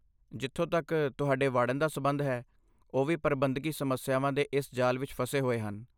ਜਿੱਥੋਂ ਤੱਕ ਤੁਹਾਡੇ ਵਾਰਡਨ ਦਾ ਸਬੰਧ ਹੈ, ਉਹ ਵੀ ਪ੍ਰਬੰਧਕੀ ਸਮੱਸਿਆਵਾਂ ਦੇ ਇਸ ਜਾਲ ਵਿੱਚ ਫਸੇ ਹੋਏ ਹਨ।